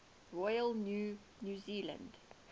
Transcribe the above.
royal new zealand